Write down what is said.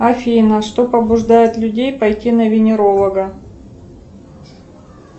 афина что побуждает людей пойти на венеролога